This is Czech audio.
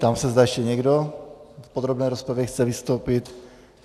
Ptám se, zda ještě někdo v podrobné rozpravě chce vystoupit.